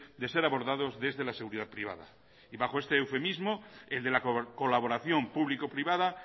de ser abordados desde la seguridad privada y bajo este eufemismo el de la colaboración público privada